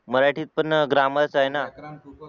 मराठीत पण ग्रामर च आहे ना